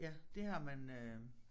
Ja det har man øh